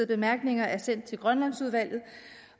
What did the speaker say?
bemærkninger er sendt til grønlandsudvalget